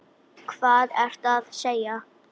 Hvað ertu að segja?